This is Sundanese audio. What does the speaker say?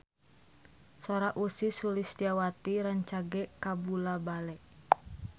Sora Ussy Sulistyawati rancage kabula-bale